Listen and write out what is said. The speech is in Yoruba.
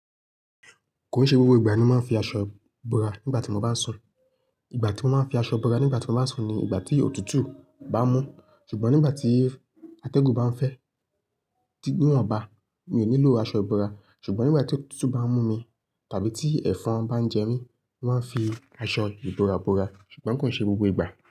Kò ì ṣe gbogbo ìgbà ni mo máa ń fi aṣọ bora nígbà tí mo bá sùn. Ìgbà tí mo máa ń fi aṣọ búra nígbà tí mo bá sùn ni ìgbà tí òtútù bá mú. Ṣùgbọ́n nígbà tí atẹ́gùn bá ń fẹ́ níwọ̀n bá, mi ò nílò aṣọ ìbora. Ṣùgbọ́n nígbà tí òtútù bá ń mú mi tàbí tí ẹ̀fọn bá ń jẹ mí, mo máa ń fi aṣọ ìbora bora. Ṣùgbọ́n kò ì ṣe gbogbo ìgbà.